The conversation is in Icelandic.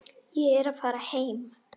Ég er að fara heim.